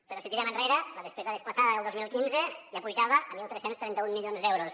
però si tirem enrere la despesa desplaçada del dos mil quinze ja pujava a tretze trenta u milions d’euros